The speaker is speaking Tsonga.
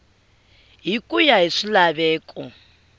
hi ku ya hi swilaveko